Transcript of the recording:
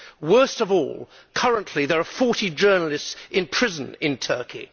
Worst of all, currently there are 40 journalists in prison in Turkey.